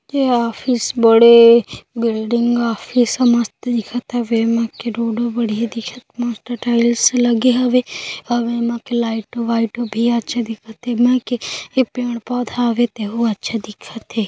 ये ऑफिस बड़े building office मस्त दिखत हावे ऐमा के रोड भी बढ़िया दिखत मस्त टाइल्स लगे हावे अउ ऐमा के लाइट वाइट भी अच्छे दिखत है ऐमा पेड़ पौधा हावे तहु अच्छा दिखत हावे।